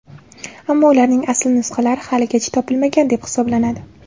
Ammo ularning asl nusxalari haligacha topilmagan deb hisoblanadi.